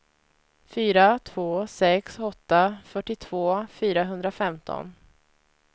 fyra två sex åtta fyrtiotvå fyrahundrafemton